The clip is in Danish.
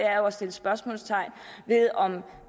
er at sætte spørgsmålstegn ved om